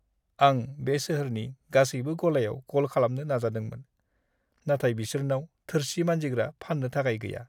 आं बे सोहोरनि गासैबो गलायाव कल खालामनो नाजादोंमोन, नाथाय बिसोरनाव थोरसि मानजिग्रा फान्नो थाखाय गैया।